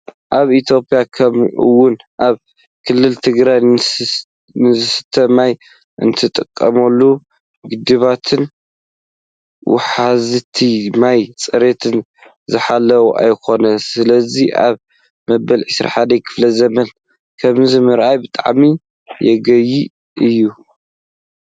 ኣብ ኢትዮጵያ ከምኡውን ኣብ ክልልና ትግራይ ንዝስተ ማይ እንጥቀመሎም ግድባትን ውሓዝቲ ማይን ፅሬቶም ዝሓለው ኣይኾኑን። ስለዚ ኣብ በመበል 21 ክፍለዘበን ከምዚ ምርኣይ ብጣዕሚ የጉህይ እዩ።